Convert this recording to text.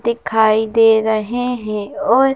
दिखाई दे रहे हैं और --